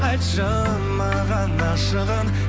айтшы маған ашығын